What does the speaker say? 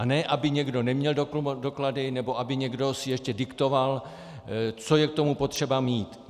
A ne aby někdo neměl doklady, nebo aby někdo si ještě diktoval, co je k tomu potřeba mít.